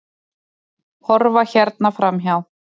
Horfa hérna framhjá!